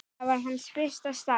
Það var hans fyrsta starf.